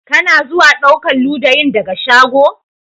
Ka na zuwa ɗaukan ludayin daga shago?